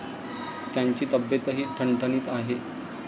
त्यांची तब्येतही ठणठणीत आहे.